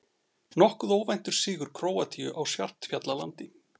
Nokkuð óvæntur sigur Króatíu á Svartfjallalandi